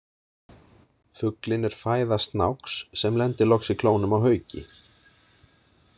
Fuglinn er fæða snáks, sem lendir loks í klónum á hauki.